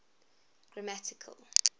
grammatical